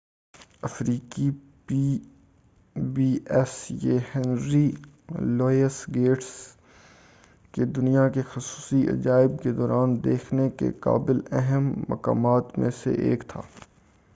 یہ Henry Louis Gates کے pbs افریقی دنیا کے خصوصی عجائب کے دوران دیکھنے کے قابل اہم مقامات میں سے ایک تھا